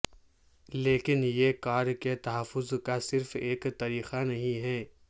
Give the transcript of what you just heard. لیکن یہ کار کے تحفظ کا صرف ایک طریقہ نہیں ہے